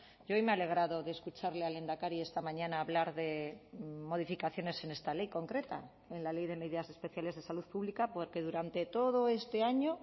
y hoy me he alegrado de escucharle al lehendakari esta mañana hablar de modificaciones en esta ley concreta en la ley de medidas especiales de salud pública porque durante todo este año